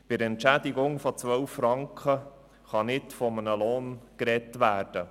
Bei einer Entschädigung von 12 Franken pro Stunde kann nicht von einem Lohn gesprochen werden.